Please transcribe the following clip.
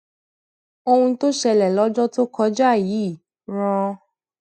ohun tó ṣẹlẹ lójọ tó kọjá yìí rán